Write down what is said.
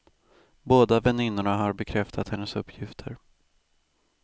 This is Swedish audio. Båda väninnorna har bekräftat hennes uppgifter.